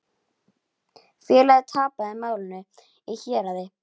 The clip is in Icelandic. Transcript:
Félagið tapaði málinu í héraði.